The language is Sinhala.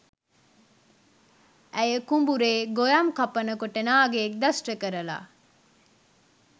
ඇය කුඹුරේ ගොයම් කපන කොට නාගයෙක් දෂ්ට කරලා.